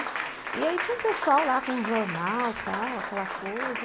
E aí tinha um pessoal lá com um jornal, tal, aquela coisa.